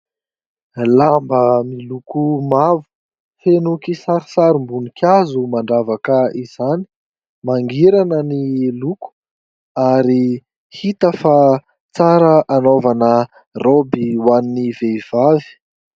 Lamba miloko mavo feno kisarisarom-bonikazo mandravaka izany manerana ny loko ary hita fa tsara hanaovana roby ho an'ny vehivavy.